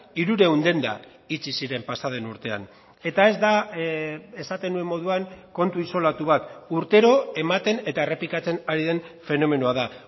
hirurehun denda itxi ziren pasaden urtean eta ez da esaten nuen moduan kontu isolatu bat urtero ematen eta errepikatzen ari den fenomenoa da